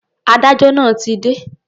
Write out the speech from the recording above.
Adájọ́ náà ti dé.